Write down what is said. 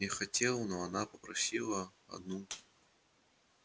я хотел её проводить но она просила меня оставить её одну